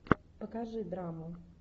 покажи драму